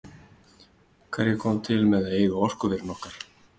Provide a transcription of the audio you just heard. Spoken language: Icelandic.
Hverjir koma til með að eiga orkuverin okkar?